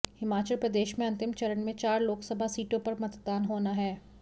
हिमाचल प्रदेश में अंतिम चरण में चार लोकसभा सीटों पर मतदान होना है